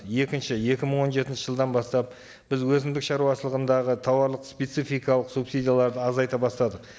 екінші екі мың он жетінші жылдан бастап біз өзіндік шаруашылығындағы тауарлық спецификалық субсидияларды азайта бастадық